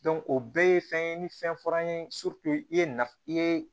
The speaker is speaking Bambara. o bɛɛ ye fɛn ye ni fɛn fɔra an ye i ye nafa i ye